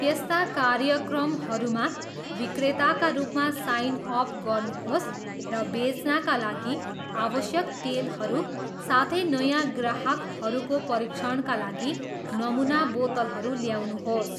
त्यस्ता कार्यक्रमहरूमा विक्रेताका रूपमा साइन अप गर्नुहोस् र बेच्नाका लागि आवश्यक तेलहरू, साथै नयाँ ग्राहकहरूको परीक्षणका लागि नमुना बोतलहरू ल्याउनुहोस्।